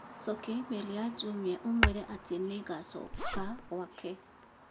Cokia i-mīrū ya Jumia uuge atĩ nĩ ngacoka gwake